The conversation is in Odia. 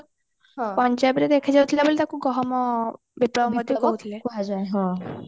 ପଞ୍ଜାବ ରେ ଦେଖା ଯାଉଥିଲା ବୋଲି ତାକୁ ଗହମ ବିପ୍ଲବ କୁହାଯାଏ